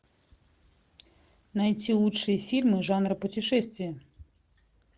найти лучшие фильмы жанра путешествия